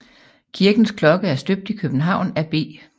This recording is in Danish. Kirkens klokke er støbt i København af B